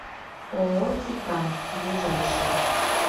ооо титан ближайший